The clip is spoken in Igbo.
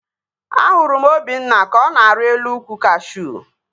Ahụrụ m Obinna ka ọ na-arị elu ukwu kashuu